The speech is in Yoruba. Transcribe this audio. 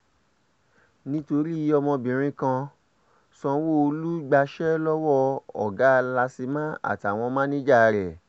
nítorí ọmọbìnrin kan sanwó-olu gbaṣẹ́ lọ́wọ́ ọ̀gá làsímà àtàwọn máníjà ẹ̀